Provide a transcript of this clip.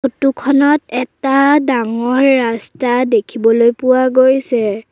ফটোখনত এটা ডাঙৰ ৰাস্তা দেখিবলৈ পোৱা গৈছে।